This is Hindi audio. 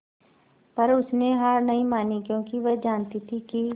पर उसने हार नहीं मानी क्योंकि वह जानती थी कि